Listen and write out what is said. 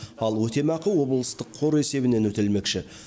ал өтемақы облыстық қор есебінен өтелмекші